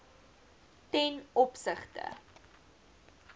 ten opsigte